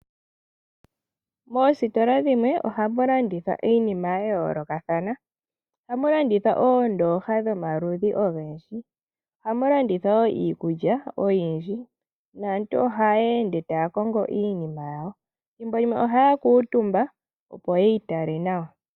Moositola dhimwe ohamu landithwa iinima ya yoolokathana ohamu landithwa oondoha dhomaludhi ogendji ohamu landithwa wo iikulya oyindji naantu ohaya ende taya kongo iinima yawo thimbo limwe ohaya kuuntumba opo yitale nawa.